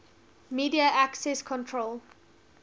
media access control